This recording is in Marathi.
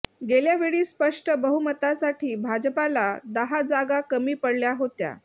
गेल्या वेळी स्पष्ट बहुमतासाठी भाजपाला दहा जागा कमी पडल्या होत्या